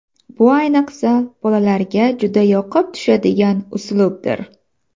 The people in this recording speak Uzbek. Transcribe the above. Bu ayniqsa, bolalarga juda yoqib tushadigan uslubdir.